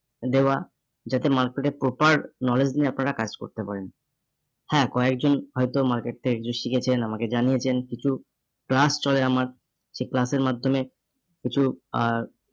দেওয়া যাতে market এ proper knowledge নিয়ে আপনারা কাজ করতে পারেন। হ্যাঁ কয়েকজন হয়তো market টা একটু শিখেছেন, আমাকে জানিয়েছেন কিছু class চলে আমার সেই class এর মাধ্যমে কিছু আহ